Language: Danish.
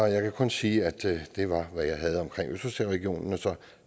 jeg kan kun sige at det var hvad jeg havde om østersøregionen